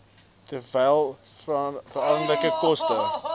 terwyl veranderlike koste